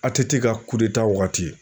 ATT ka wagati.